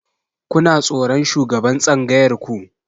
Kuna tsoron shugaban tsangayar ku?